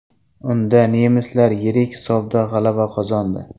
Unda nemislar yirik hisobda g‘alaba qozondi .